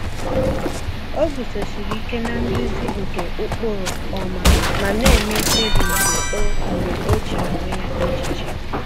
O guzosiri ike na-nduzi nke ụkpụrụ ọma, ma na-eme mkpebi mgbe o mgbe o chere onwe ya echiche.